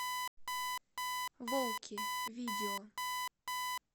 волки видео